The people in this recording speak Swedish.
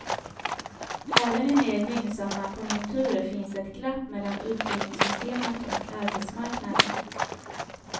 Även i mer gynnsamma konjunkturer finns ett glapp mellan utbildningssystemet och arbetsmarknaden.